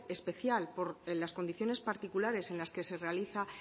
especial por las condiciones particulares en las que se realiza